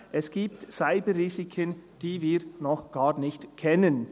«Es gibt Cyberrisiken, die wir noch gar nicht kennen.